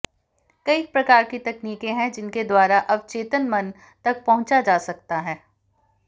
कई प्रकार की तकनीकें हैं जिनके द्वारा अवचेतन मन तक पहुंचा जा सकता है